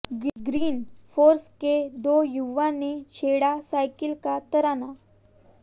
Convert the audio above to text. green Force के दो युवाओं ने छेड़ा साइकिल का तराना